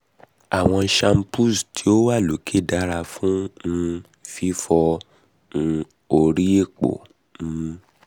awọn shampoos ti o wa loke dara fun um fifọ um ori epo um